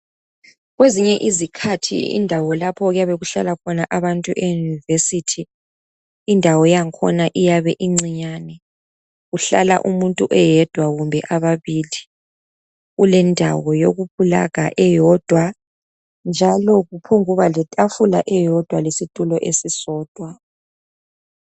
kwezinye izikhathi izindawo lapho okuyabekuhlala khona abantu university indawo yakhona iyabe incinyane kuhlala umuntu eyedwa kumbe ababili kulendawo eyoku pulaga eyodwa njalo kuphonguba le tafula eyodwa lesitulo esisodwa